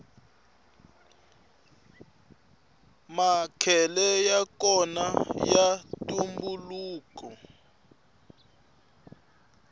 makhele yakona ya ntumbuluko